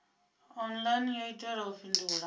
online yo itelwa u fhindula